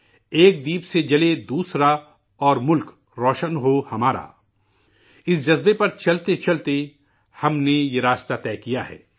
'ایک دیپ سے جلے دوسرا اور ملک روشن ہو ہمارا' اس جذبے کے ساتھ چلتے چلتے ہم نے یہ راستہ طے کیا ہے